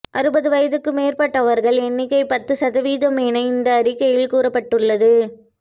அறுபது வயதுக்கு மேற்பட்டவர்கள் எண்ணிக்கை பத்து சதவீதம் என இந்த அறிக்கையில் கூறப்பட்டுள்ளது